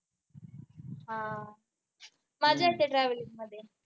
हा मज्जा येते travelling मध्ये